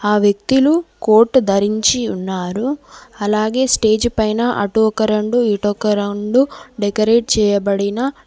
ఆ వ్యక్తిలు కోట్ ధరించి ఉన్నారు అలాగే స్టేజ్ పైన అటు ఒక రొండు ఇటొక రొండు డెకరేట్ చేయబడిన --